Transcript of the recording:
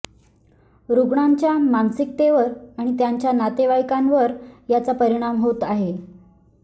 रुग्णांच्या मानसिकतेवर आणि त्यांच्या नातेवाईकांवर याचा परिणाम होत आहे